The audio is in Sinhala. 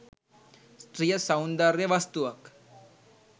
ස්ත්‍රිය සෞන්දර්ය වස්තුවක්